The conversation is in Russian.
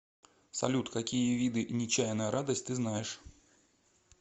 салют какие виды нечаянная радость ты знаешь